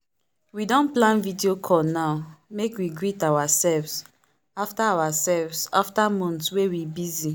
we don plan video call now make we greet ourselves after ourselves after months wey we busy.